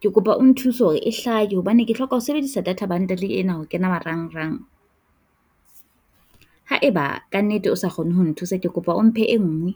ke kopa o nthuse hore e hlahe hobane ke hloka ho sebedisa data bundle ena ho kena marangrang haeba kannete o sa kgone ho nthusa. Ke kopa o mphe e nngwe.